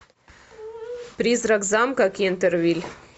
призрак замка кентервиль